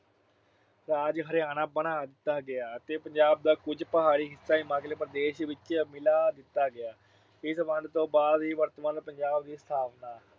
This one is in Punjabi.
ਰਾਜ ਹਰਿਆਣਾ ਬਣਾ ਦਿੱਤਾ ਗਿਆ ਤੇ ਪੰਜਾਬ ਦਾ ਕੁਝ ਪਹਾੜੀ ਹਿੱਸਾ ਹਿਮਾਚਲ ਪ੍ਰਦੇਸ਼ ਵਿੱਚ ਮਿਲਾ ਦਿੱਤਾ ਗਿਆ। ਇਸ ਵੰਡ ਤੋਂ ਬਾਅਦ ਹੀ ਵਰਤਮਾਨ ਪੰਜਾਬ ਦੀ ਸਥਾਪਨਾ